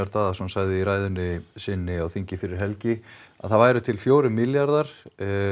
Daðason sagði í ræðunni sinni á þingi fyrir helgi að það væru til fjórir milljarðar